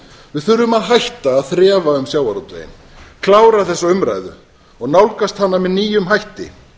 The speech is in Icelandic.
við þurfum að hætta að þrefa um sjávarútveginn klára þessa umræðu og nálgast hana með nýjum hætti